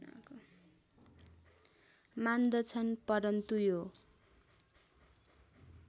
मान्दछन् परन्तु यो